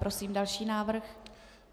Prosím další návrh.